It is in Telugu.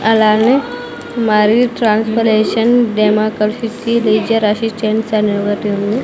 అలానే మరియు ట్రాన్సపరేషన్ డెమోక్రసీసీ రీజర్ అసిస్టెంట్స్ అని ఒగటుంది.